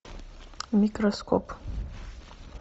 микроскоп